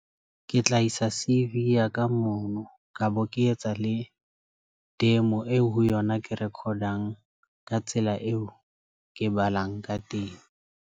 Ke tla isa C_V ya ka mono kabo ke etsa le demo eo ho yona. Ke recordang ka tsela eo ke balang ka teng.